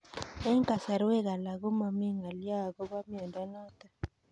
Eng'kasarwek alak ko mami ng'alyo akopo miondo notok